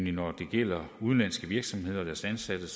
at når det gælder udenlandske virksomheder og deres ansatte